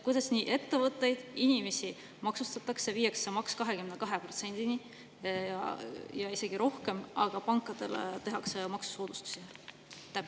Kuidas nii, et ettevõtteid ja inimesi maksustatakse, viiakse maks 22%‑ni ja isegi rohkem, aga pankadele tehakse maksusoodustusi?